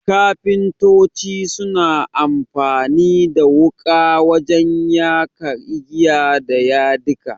Kafintoci suna amfani da wuƙa wajen ya ka igiya da yadika.